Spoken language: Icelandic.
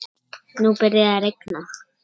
Nú byrjaði að rigna.